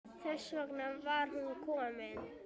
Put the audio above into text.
Þess vegna var hún komin.